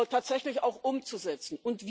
tatsächlich auch umzusetzen.